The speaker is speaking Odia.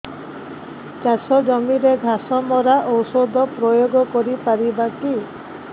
ଚାଷ ଜମିରେ ଘାସ ମରା ଔଷଧ ପ୍ରୟୋଗ କରି ପାରିବା କି